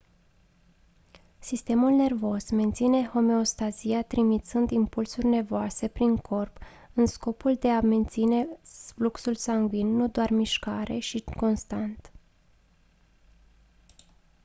sistemul nervos menține homeostazia trimițând impulsuri nervoase prin corp în scopul de a menține fluxul sangvin nu doar mișcare și constant